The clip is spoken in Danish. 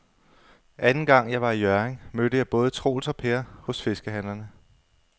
Anden gang jeg var i Hjørring, mødte jeg både Troels og Per hos fiskehandlerne.